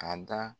A da